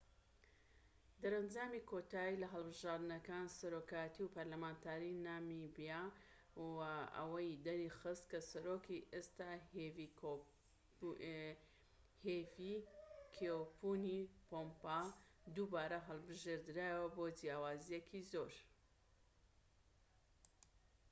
دەرەنجامی کۆتایی لە هەڵبژاردنەکانی سەرۆکایەتی و پەرلەمانتاریی نامیبیا وە ئەوەی دەرخست کە سەرۆکی ئێستا هیفیکێپونی پۆهامبا دووبارە هەڵبژێردرایەوە بە جیاوازییەکی زۆر